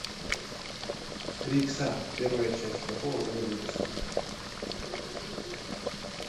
три икса первая часть какого года выпуска